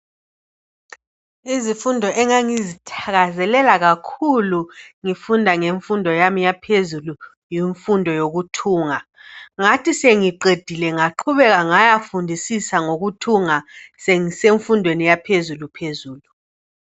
Izifundo engangizithakazelela kakhulu ngifunda ngemfundo yami yaphezulu imfundo yokuthunga ngathi sengiqedile ngaqhubeka ngaya fundisisa ngikuthunga sengisemfundweni yaphezulu phezulu